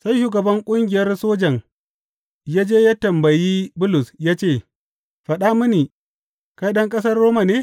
Sai shugaban ƙungiyar sojan ya je ya tambayi Bulus ya ce, Faɗa mini, kai ɗan ƙasar Roma ne?